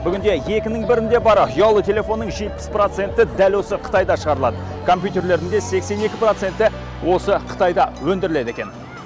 бүгінде екінің бірінде бары ұялы телефонның жетпіс проценті дәл осы қытайда шығарылады компьютерлердің сексен екі проценті осы қытайда өндіріледі екен